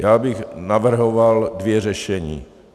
Já bych navrhoval dvě řešení.